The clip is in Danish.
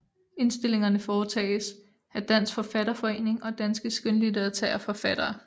Indstillingerne foretages af Dansk Forfatterforening og Danske Skønlitterære Forfattere